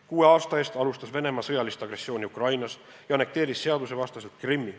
Kuue aasta eest alustas Venemaa sõjalist agressiooni Ukrainas ja annekteeris seadusevastaselt Krimmi.